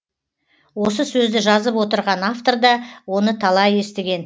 осы сөзді жазып отырған авторда оны талай естіген